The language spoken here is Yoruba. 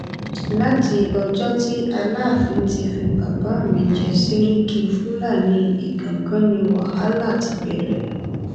láti ọjọ tí aláàfin ti fi bàbá mi jẹ sẹríkì fúlàní ìgangan ni wàhálà ti bẹrẹ